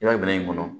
I b'a minɛ in kɔnɔ